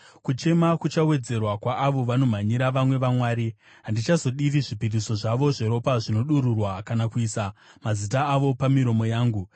Kuchema kuchawedzerwa, kwaavo vanomhanyira vamwe vamwari. Handichazodiri zvipiriso zvavo zveropa zvinodururwa kana kuisa mazita avo pamiromo yangu.